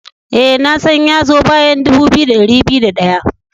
Ee, na tsan ya zo bayan dubu biyu da dari biyu da daya.